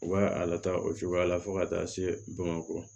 U b'a a lataa o cogoya la fo ka taa se bamakɔ